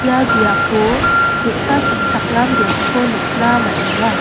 ia biapo ge·sa sanchakram biapko nikna man·enga.